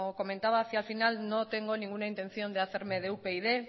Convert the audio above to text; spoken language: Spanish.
comentaba hacia el final no tengo ninguna intención de hacerme de upyd